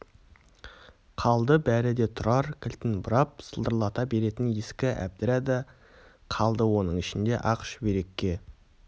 қалды бәрі де тұрар кілтін бұрап сылдырлата беретін ескі әбдіра да қалды оның ішінде ақ шүберекке